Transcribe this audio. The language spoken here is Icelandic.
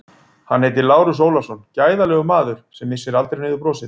Hann heitir Lárus Ólafsson, gæðalegur maður sem missir aldrei niður brosið.